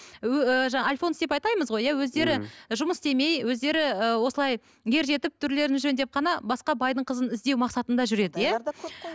ы жаңа альфонс деп атаймыз ғой өздері жұмыс істемей өздері і осылай ер жетіп түрлерін жөндеп қана басқа байдың қызын іздеу мақсатында жүреді иә